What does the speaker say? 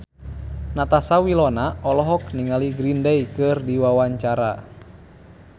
Natasha Wilona olohok ningali Green Day keur diwawancara